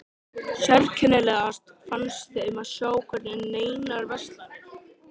Mér fannst þetta nokkuð gott hjá mér.